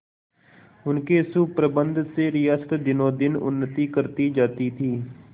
उनके सुप्रबंध से रियासत दिनोंदिन उन्नति करती जाती थी